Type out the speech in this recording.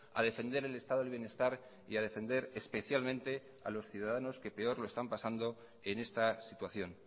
a defender el estado del bienestar y a defender especialmente a los ciudadanos que peor lo están pasando en esta situación